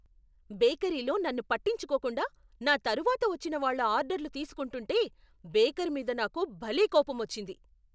బేకరీలో నన్ను పట్టించుకోకుండా, నా తరువాత వచ్చిన వాళ్ళ ఆర్డర్లు తీసుకుంటుంటే, బేకర్ మీద నాకు భలే కోపమొచ్చింది.